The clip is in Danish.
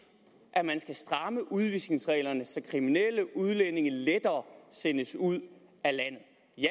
at man skal stramme udvisningsreglerne så kriminelle udlændinge lettere sendes ud af landet